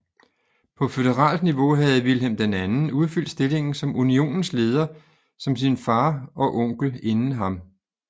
På føderalt niveau havde Vilhelm II udfyldt stillingen som Unionens leder som sin fader og onkel inden ham